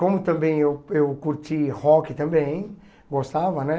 Como também eu eu curti rock também, gostava, né?